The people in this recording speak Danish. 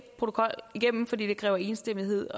protokol igennem fordi det kræver enstemmighed